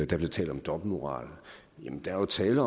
der blev talt om dobbeltmoral jamen der er tale